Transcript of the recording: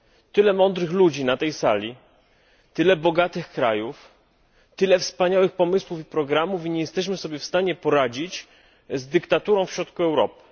Tyle mądrych ludzi na tej sali, tyle bogatych krajów, tyle wspaniałych pomysłów i programów, a nie jesteśmy w stanie poradzić sobie z dyktaturą w środku Europy.